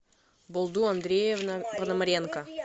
болду андреевна пономаренко